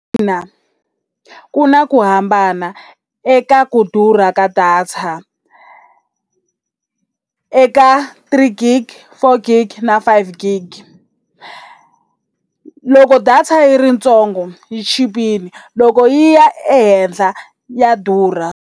Na ku na ku hambana eka ku durha ka data eka three gig, four gig na five gig. Loko data yi ri ntsongo yi chipile loko yi ya ehenhla ya durha.